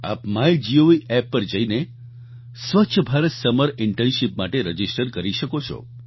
આપ MyGov app પર જઈને સ્વચ્છ ભારત સમર ઇન્ટર્નશીપ માટે રજિસ્ટર કરી શકો છો